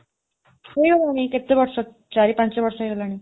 ଗଲାଣି, କେତେ ବର୍ଷ, ଚାରି ପାଞ୍ଚ ବର୍ଷ ହେଇଗଲାଣି।